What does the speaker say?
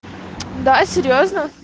да серьёзно